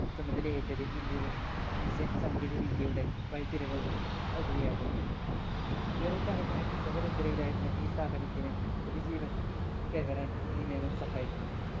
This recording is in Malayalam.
ചുമതല ഏറ്റത് ഇന്ത്യടെ missile സാങ്കേതിക വിദ്യയുടെ വൈത്തിരിവ് ആവുകയായിരുന്നു ഏറെക്കാലമായി സുഖനിദ്രയിലായിരുന്ന ഈ സ്ഥാപനത്തിന് പുതുജീവൻ കൈവരാൻ ഈ നിയമം സഹായിക്കും